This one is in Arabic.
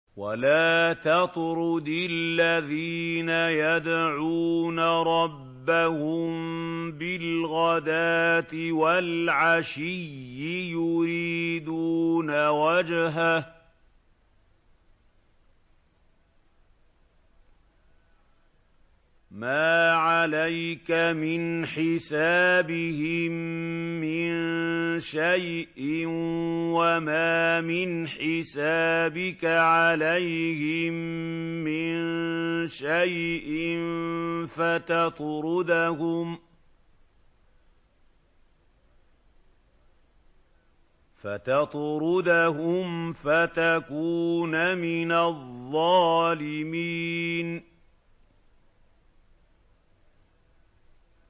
وَلَا تَطْرُدِ الَّذِينَ يَدْعُونَ رَبَّهُم بِالْغَدَاةِ وَالْعَشِيِّ يُرِيدُونَ وَجْهَهُ ۖ مَا عَلَيْكَ مِنْ حِسَابِهِم مِّن شَيْءٍ وَمَا مِنْ حِسَابِكَ عَلَيْهِم مِّن شَيْءٍ فَتَطْرُدَهُمْ فَتَكُونَ مِنَ الظَّالِمِينَ